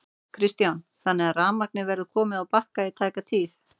Kristján: Þannig að rafmagnið verður komið á Bakka í tæka tíð?